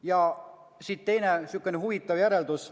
Ja siit teine huvitav järeldus.